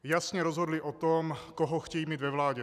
Jasně rozhodli o tom, koho chtějí mít ve vládě.